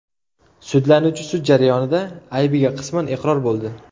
Sudlanuvchi sud jarayonida aybiga qisman iqror bo‘ldi.